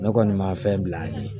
Ne kɔni ma fɛn bila an ye